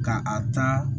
Ka a ta